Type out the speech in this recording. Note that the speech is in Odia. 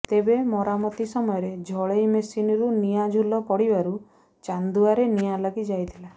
ତେବେ ମରାମତି ସମୟରେ ଝଳେଇ ମେସିନରୁ ନିଆଁ ଝୁଲ ପଡିବାରୁ ଚାନ୍ଦୁଆରେ ନିଆଁ ଲାଗି ଯାଇଥିଲା